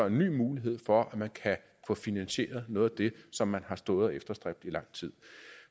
en ny mulighed for at man kan få finansieret noget af det som man har stået og efterstræbt i lang tid